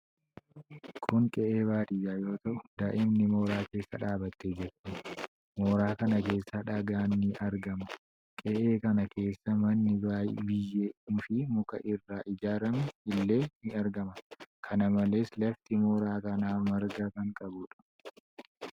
Kun qe'ee baadiyyaa yoo ta'u daa'imni mooraa keessa dhaabattee jirti. Mooraa kana keessa dhagaan ni argama. Qe'ee kana keessa manni biyyee fi muka irraa ijaarame illee ni argama. kana malees lafti mooraa kanaa marga kan qabuudha.